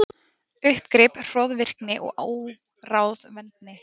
Uppgrip, hroðvirkni, óráðvendni.